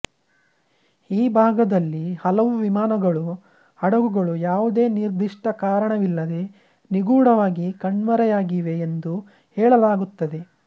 ಈ ಭಾಗದಲ್ಲಿ ಹಲವು ವಿಮಾನಗಳು ಹಡಗುಗಳು ಯಾವುದೇ ನಿರ್ದಿಷ್ಟ ಕಾರಣವಿಲ್ಲದೆ ನಿಗೂಢವಾಗಿ ಕಣ್ಮರೆಯಾಗಿವೆ ಎಂದು ಹೇಳಲಾಗುತ್ತದೆ